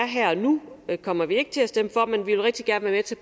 her og nu kommer vi ikke til at stemme